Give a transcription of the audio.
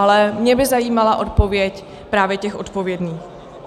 Ale mě by zajímala odpověď právě těch odpovědných.